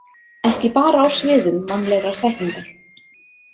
Ekki bara á sviðum mannlegrar þekkingar.